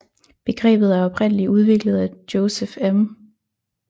Begrebet er oprindeligt udviklet af Joseph M